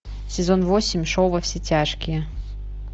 сезон восемь шоу во все тяжкие